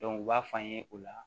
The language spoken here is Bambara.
u b'a f'an ye o la